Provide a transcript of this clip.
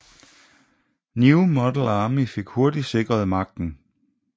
New Model Army hurtigt fik hurtigt sikret magten